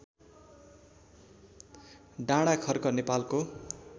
डाँडाखर्क नेपालको